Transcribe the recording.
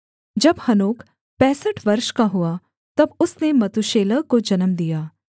जब हनोक पैंसठ वर्ष का हुआ तब उसने मतूशेलह को जन्म दिया